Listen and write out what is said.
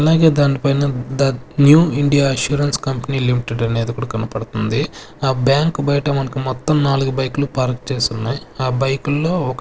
అలాగే దానిపైన the new India assurance company limited అనేది కూడా కనపడతంది ఆ బ్యాంక్ బయట మనకు మొత్తం నాలుగు బైకులు పార్కు చేసున్నాయ్ ఆ బైకుల్లో ఒక --